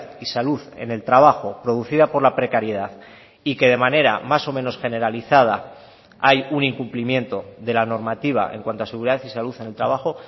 y salud en el trabajo producida por la precariedad y que de manera más o menos generalizada hay un incumplimiento de la normativa en cuanto a seguridad y salud en el trabajo